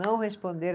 Não responderam.